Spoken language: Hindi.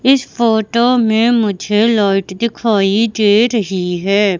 इस फोटो में मुझे लाइट दिखाई दे रही है।